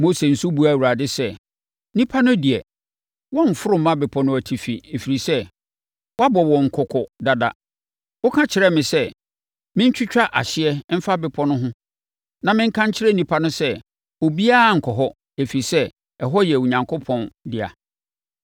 Mose nso buaa Awurade sɛ, “Nnipa no deɛ, wɔremforo mma bepɔ no atifi, ɛfiri sɛ, woabɔ wɔn kɔkɔ dada. Woka kyerɛɛ me sɛ mentwitwa ahyeɛ mfa bepɔ no ho na menka nkyerɛ nnipa no sɛ, obiara nnkɔ hɔ, ɛfiri sɛ, ɛhɔ yɛ Onyankopɔn dea.”